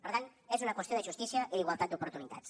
per tant és una qüestió de justícia i d’igualtat d’oportunitats